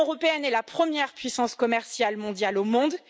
L'Union européenne est la première puissance commerciale mondiale au monde